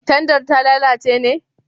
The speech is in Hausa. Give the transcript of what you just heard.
Tandar ta lalace ne?